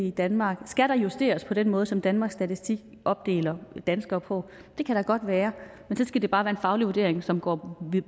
i danmark skal der justeres på den måde som danmarks statistik opdeler danskere på det kan da godt være men så skal det bare være en faglig vurdering som går